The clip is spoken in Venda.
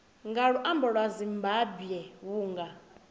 nga luambo lwa zimbambwe vhunga